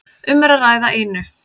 Um er að ræða einu